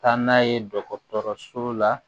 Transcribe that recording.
Taa n'a ye dɔgɔtɔrɔso la